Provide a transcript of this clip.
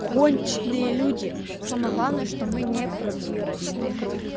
конченые люди самое главное что мы не пробирочные